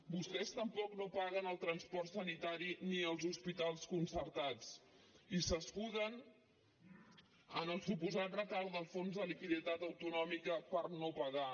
vostès tampoc no paguen el transport sanitari ni els hospitals concertats i s’escuden en el suposat retard del fons de liquiditat autonòmica per no pagar